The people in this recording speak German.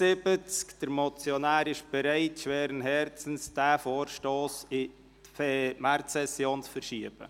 Der Motionär ist schweren Herzens bereit, diesen Vorstoss in die Märzsession zu verschieben.